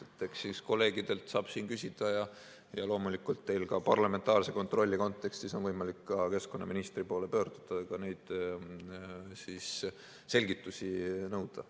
Eks siis kolleegidelt saab siin küsida ja loomulikult on teil parlamentaarse kontrolli kontekstis võimalik ka keskkonnaministri poole pöörduda ja neid selgitusi nõuda.